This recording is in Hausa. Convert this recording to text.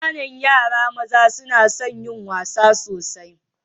Ƙananan yara maza suna son yin wasa sosai.